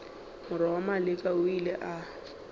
morwa maleka o ile a